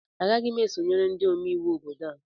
Agaghị m esonyere ndị omeiwu obodo a